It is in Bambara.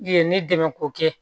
Ye ne dɛmɛ ko kɛ